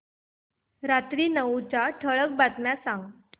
रात्री नऊच्या ठळक बातम्या सांग